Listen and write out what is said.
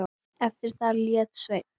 Eftir það lét Sveinn